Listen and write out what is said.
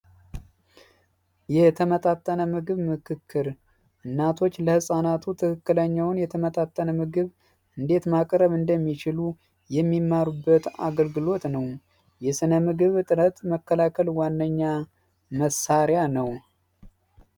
የተመጣጠነ ምግብ ምክክር እናቶች ለህፃናት ትክክለኛውን የተመጣጠነ ምግብ እንዴት ማቅረብ እንደሚችሉ የሚማሩበት አገልግሎት ነው። የስነ ምግብ መከላከል ዋነኛ መሳሪያ ነው።